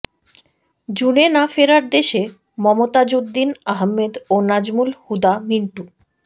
জুনে না ফেরার দেশে মমতাজউদ্দীন আহমেদ ও নাজমুল হুদা মিন্টু